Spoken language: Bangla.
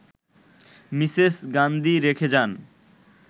মিসেস গান্ধী রেখে যান